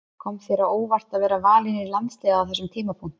Kom þér á óvart að vera valinn í landsliðið á þessum tímapunkti?